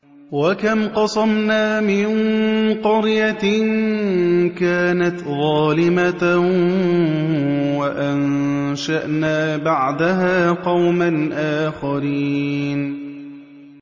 وَكَمْ قَصَمْنَا مِن قَرْيَةٍ كَانَتْ ظَالِمَةً وَأَنشَأْنَا بَعْدَهَا قَوْمًا آخَرِينَ